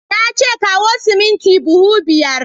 Na ce kawo siminti buhu biyar!